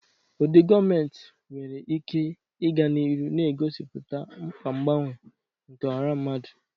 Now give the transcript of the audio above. Ụdị gọọmentị nwere ike ịga n'ihu na-egosipụta mkpa mgbanwe nke ọha mmadụ.